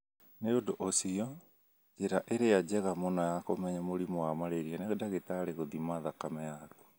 Nĩ ũndũ ũcio, njĩra ĩrĩa njega mũno ya kũmenya mũrimũ wa malaria nĩ ndagĩtari gũthima thakame yaku.